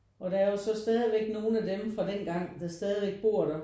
Og der er jo så stadigvæk nogen af dem fra dengang der stadigvæk bor der